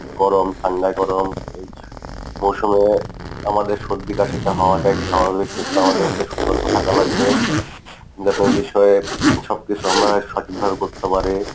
গরম ঠান্ডা গরম এই মৌসুমে আমাদের সর্দি কাশিটা হওয়াটাই স্বাভাবিক কিন্তু আমাদেরকে সতর্ক থাকা লাগবে যাতে এই বিষয়ে সব কিছু আমরা সঠিকভাবে করতে পারি।